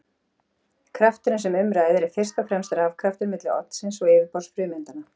Krafturinn sem um ræðir er fyrst og fremst rafkrafturinn milli oddsins og yfirborðs frumeindanna.